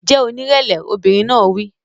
Jẹ́ onírẹ̀lẹ̀! Obìnrin náà wí.